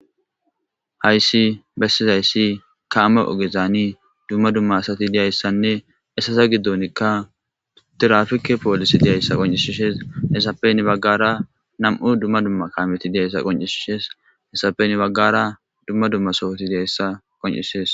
Hayssi bessizayssi ka ama ogezaani dumma dumma asati diyayssanne essaza giddonikka tirafike poolisi diyayssa qoncishishees hessapeni baggara nam'u dumma dumma kaameti diyayssa qoncisishees hessapen baggara dumma dumma sowoti diyayssa qoncishees